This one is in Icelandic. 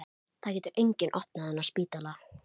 Þau ganga fyrir næsta horn og sjá þá aðrar dyr.